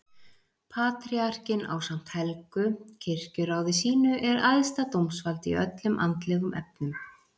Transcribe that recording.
Patríarkinn ásamt helgu kirkjuráði sínu er æðsta dómsvald í öllum andlegum efnum.